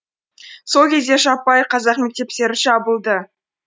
сол кезде жаппай қазақ мектептері жабылды